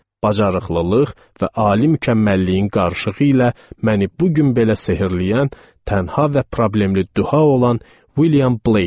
Bacaraqlılıq və ali mükəmməlliyin qarışığı ilə məni bu gün belə sehrləyən tənha və problemli duha olan William Blake.